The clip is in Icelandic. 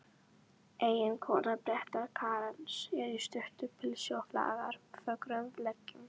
Eiginkona predikarans er í stuttu pilsi og flaggar fögrum leggjum.